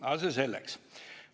Aga see selleks.